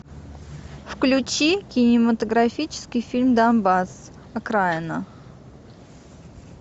включи кинематографический фильм донбасс окраина